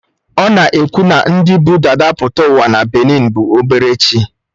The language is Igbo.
A na-ekwu na ndị bụ dada pụta ụwa na benin bụ obere chi